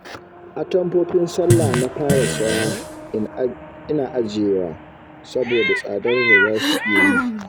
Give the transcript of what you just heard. Atamfofin sallah na fara saya ina ajiyewa saboda tsadar da za su iya yi